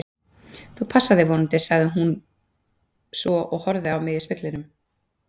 Þú passar þig vonandi, sagði hún svo og horfði á mig í speglinum.